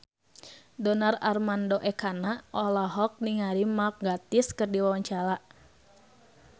Donar Armando Ekana olohok ningali Mark Gatiss keur diwawancara